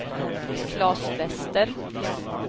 Claes Wester